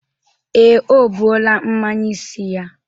Ee, o buola mnanye isi ya.